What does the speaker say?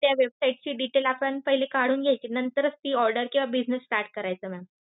त्या website चे details आपण पहिले काढून घ्यायचे. नंतरच ती order किंवा business start करायचा ma'am.